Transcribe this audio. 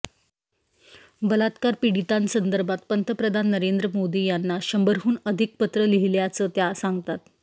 बलात्कार पीडितांसंदर्भात पंतप्रधान नरेंद्र मोदी यांना शंभरहून अधिक पत्रं लिहिल्याचं त्या सांगतात